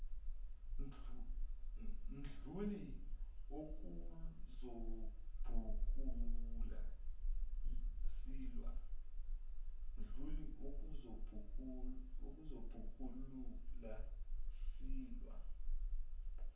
mdluli ukuzobhukula silwe